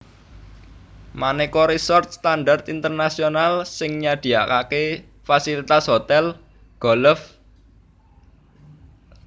Manéka resort standar internasional sing nyadiakaké fasilitas hotèl golf lll